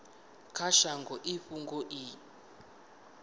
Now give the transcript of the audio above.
kha shango i fhungo i